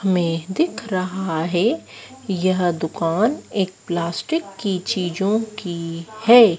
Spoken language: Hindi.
हमें दिख रहा है यह दुकान एक प्लास्टिक की चीजों की हैं।